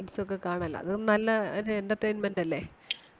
dance ഉം ഒക്കെ കാണാല്ലോ അതും നല്ല ഒരു entertainment അല്ലേ.